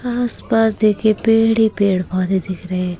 आसपास देखे पेड़ ही पेड़ पौधे दिख रहे--